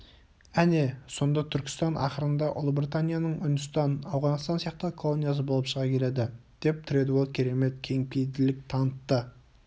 әне сонда түркістан ақырында ұлыбританияның үндістан ауғанстан сияқты колониясы болып шыға келеді деп тредуэлл керемет кеңпейілділік танытты